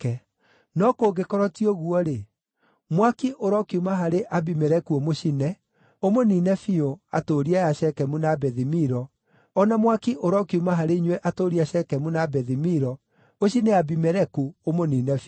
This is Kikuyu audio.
No kũngĩkorwo ti ũguo-rĩ, mwaki ũrokiuma harĩ Abimeleku ũmũcine, ũmũniine biũ, atũũri aya a Shekemu na Bethi-Milo, o na mwaki ũrokiuma harĩ inyuĩ atũũri a Shekemu na Bethi-Milo, ũcine Abimeleku, ũmũniine biũ.”